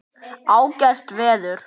Ágætt veður.